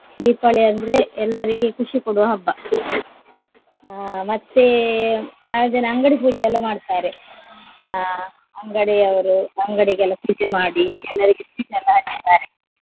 ದೀಪಾವಳಿ ಅಂದ್ರೆ ಎಲ್ಲರಿಗೆ ಖುಷಿ ಕೊಡುವ ಹಬ್ಬ. ಅಹ್ ಮತ್ತೆ ಮಾರನೆದಿನ ಅಂಗಡಿ ಪೂಜೆ ಎಲ್ಲ ಮಾಡ್ತಾರೆ ಅಹ್ ಅಂಗಡಿಯವರು ಅಂಗಡಿಗೆಲ್ಲ ಪೂಜೆ ಮಾಡಿ ಎಲ್ಲರಿಗೆ sweet ಎಲ್ಲ ಹಂಚ್ತಾರೆ.